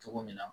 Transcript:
Cogo min na